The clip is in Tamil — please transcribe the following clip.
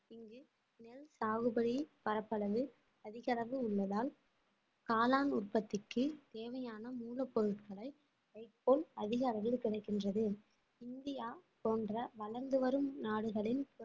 சாகுபடி பரப்பளவில் அதிக அளவு உள்ளதால் காளான் உற்பத்திக்கு தேவையான மூலப்பொருட்களை வைக்கோல் அதிக அளவில் கிடைக்கின்றது இந்தியா போன்ற வளர்ந்து வரும் நாடுகளின்